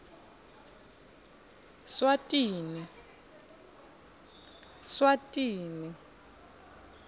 swatini